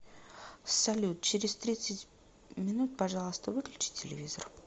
салют через тридцать минут пожалуйста выключи телевизор